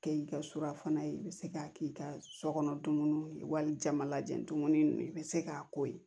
Kɛ i ka surafana ye i bɛ se k'a k'i ka so kɔnɔ dumuni ye walijama lajɛ dumuni ninnu i bɛ se k'a ko ye